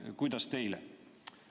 Kuidas teile?